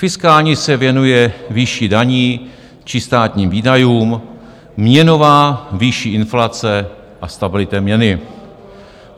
Fiskální se věnuje výši daní či státním výdajům, měnová výši inflace a stabilitě měny.